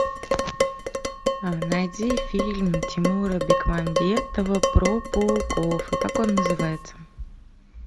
найди фильм тимура бекмамбетова про пауков и как он называется